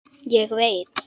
Ég veit.